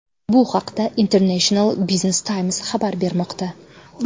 Bu haqda International Business Times nashri xabar bermoqda .